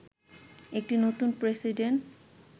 একটি নতুন প্রেসিডেন্ট